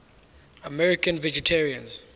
american vegetarians